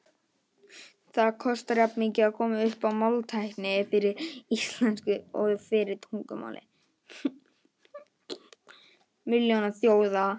Það kostar jafnmikið að koma upp máltækni fyrir íslensku og fyrir tungumál milljónaþjóða.